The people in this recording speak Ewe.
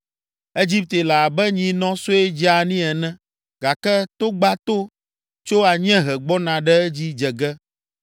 “Egipte le abe nyinɔ sue dzeani ene gake togbato tso anyiehe gbɔna ɖe edzi dze ge.